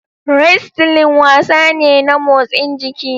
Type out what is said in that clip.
Wrestling wasa ne na motsin jiki.